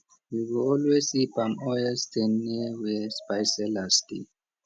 you go always see palm oil stain near where spice sellers dey